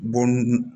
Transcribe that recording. Bɔn